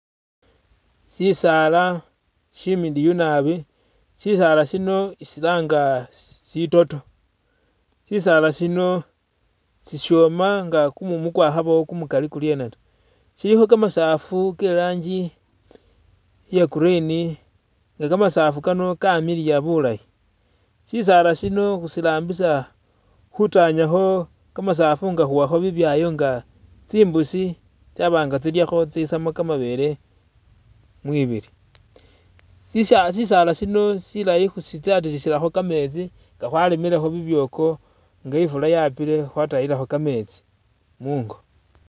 Shisala shimiliyu naabi shisala shino khusilanga sitoto sisaala sino sishoma kumumu kwakhabawo kumumali kurye taa silikho kamasafu ke'ranji iya green nga kamasafu Kano kamiliya bulaayi sisaala sino khusirambisa khutanyakho kamasafu nga khuwa bibyayo nga tsimbusi tsabanga tsyilyakho tsaba nga tsisamo kamabele mwibili shisala sino silaayi khusitatilisilakho kametsi nga khwaremilekho bibyoko nga ifula yapile khwatatisilakho kametsi mungo